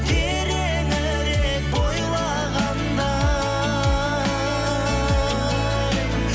тереңірек бойлағандай